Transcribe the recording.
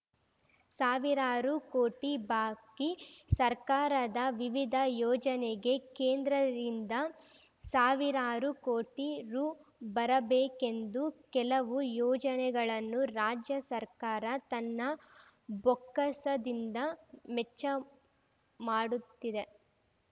ಸಾವಿರಾರು ಕೋಟಿ ಬಾಕಿ ಸರ್ಕಾರದ ವಿವಿಧ ಯೋಜನೆಗೆ ಕೇಂದ್ರದಿಂದ ಸಾವಿರಾರು ಕೋಟಿ ರು ಬರಬೇಕೆಂದು ಕೆಲವು ಯೋಜನೆಗಳನ್ನು ರಾಜ್ಯ ಸರ್ಕಾರ ತನ್ನ ಬೊಕ್ಕಸದಿಂದ ಮೆಚ್ಚ ಮಾಡುತ್ತಿದೆ